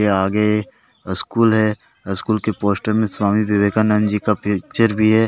के आगे स्कूल है स्कूल के पोस्टर में स्वामी विवेकानंद जी का पिक्चर भी है।